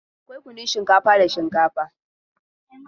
Akwai kunnun shinkafa da shinkafa.